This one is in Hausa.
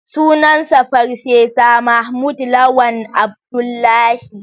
Sunansa Farfesa Mahmud Lawan Abdullahi